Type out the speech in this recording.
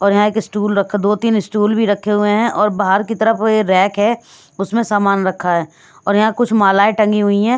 और यहाँ एक स्टूल रखा दो-तीन स्टूल भी रखे हुए हैं और बाहर की तरफ ये रैक है उसमें सामान रखा है और यहाँ कुछ मालाएं टंगी हुई हैं।